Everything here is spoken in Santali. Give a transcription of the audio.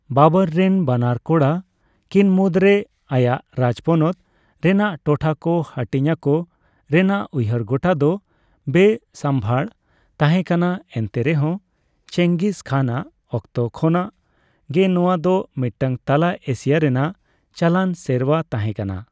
ᱵᱟᱵᱚᱨ ᱨᱮᱱ ᱵᱟᱱᱟᱨ ᱠᱚᱲᱟ ᱠᱤᱱ ᱢᱩᱫᱽ ᱨᱮ ᱟᱭᱟᱜ ᱨᱟᱡᱽᱯᱚᱱᱚᱛ ᱨᱮᱱᱟᱜ ᱴᱚᱴᱷᱟᱠᱚ ᱦᱟᱴᱤᱧᱟᱠᱚ ᱨᱮᱱᱟᱜ ᱩᱭᱦᱟᱹᱨ ᱜᱚᱴᱟ ᱫᱚ ᱵᱮᱼᱥᱟᱢᱵᱷᱟᱲ ᱛᱟᱸᱦᱮᱠᱟᱱᱟ, ᱮᱱᱛᱮ ᱨᱮᱦᱚ ᱪᱮᱝᱜᱤᱥ ᱠᱷᱟᱱᱟᱜ ᱚᱠᱛᱚ ᱠᱷᱚᱱᱟᱜ ᱜᱮ ᱱᱚᱣᱟ ᱫᱚ ᱢᱤᱫᱴᱟᱝ ᱛᱟᱞᱟ ᱮᱥᱤᱭᱟ ᱨᱮᱱᱟᱜ ᱪᱚᱞᱟᱱ ᱥᱮᱨᱣᱟ ᱛᱟᱸᱦᱮ ᱠᱟᱱᱟ ᱾